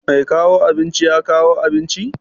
Mai kawo abinci ya kawo abinci?